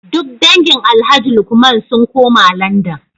Duk dangin Alhaji Lukman sun koma Landan